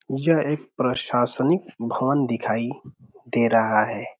यह एक प्रशाशनिक भवन दिखाई दे रहा है।